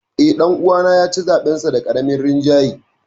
Eh, dan uwana ya ci zaɓensa da karamin rinjaye.